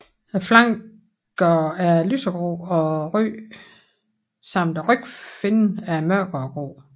Flankerne er lysegrå og ryggen samt rygfinnen er mørkere grå